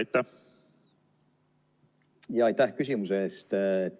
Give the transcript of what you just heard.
Aitäh küsimuse eest!